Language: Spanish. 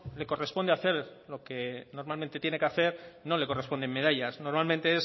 le corresponde hacer lo que normalmente tiene que hacer no le corresponden medallas normalmente